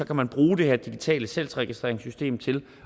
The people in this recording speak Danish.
kan man bruge det her digitale salgsregistreringssystem til